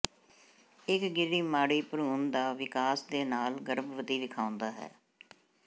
ਇੱਕ ਗਿਰੀ ਮਾੜੀ ਭਰੂਣ ਦਾ ਵਿਕਾਸ ਦੇ ਨਾਲ ਗਰਭਵਤੀ ਵੇਖਾਉਦਾ ਹੈ